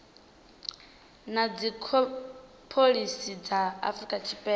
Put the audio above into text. na dzipholisi dza afrika tshipembe